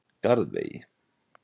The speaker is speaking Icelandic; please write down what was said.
Garðvegi